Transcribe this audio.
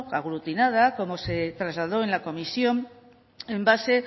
aglutinada como se trasladó en la comisión en base